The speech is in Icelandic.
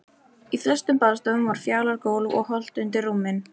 Í flestum baðstofum var fjalagólf og holt undir rúmin.